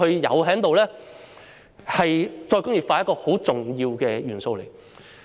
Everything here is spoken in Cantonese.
這是再工業化一個十分重要的元素。